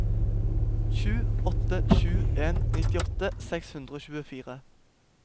sju åtte sju en nittiåtte seks hundre og tjuefire